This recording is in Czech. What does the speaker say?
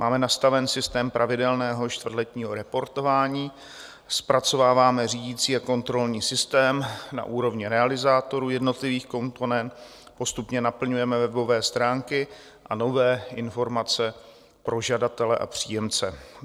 Máme nastaven systém pravidelného čtvrtletního reportování, zpracováváme řídící a kontrolní systém na úrovně realizátorů jednotlivých komponent, postupně naplňujeme webové stránky a nové informace pro žadatele a příjemce.